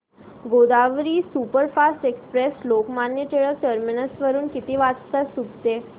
Godavari superfast express Lokmanya Tilak terminus वरून किती वाजता सुटते